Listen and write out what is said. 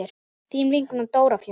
Þín vinkona Dóra Fjóla.